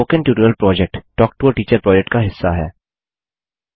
spoken tutorial project talk to a teacher project का हिस्सा है